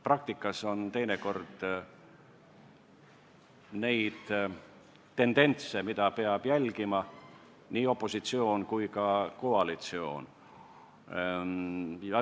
Praktikas on teinekord tendentse, mida peavad jälgima nii opositsioon kui ka koalitsioon.